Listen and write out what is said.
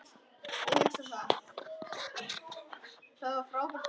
Þegnar yðar á Íslandi þjást.